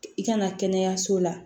I kana kɛnɛyaso la